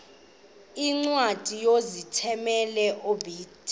iincwadi ozithumela ebiblecor